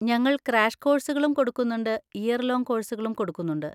ഞങ്ങൾ ക്രാഷ് കോഴ്‌സുകളും കൊടുക്കുന്നുണ്ട് ഇയർ ലോങ്ങ് കോഴ്‌സുകളും കൊടുക്കുന്നുണ്ട്.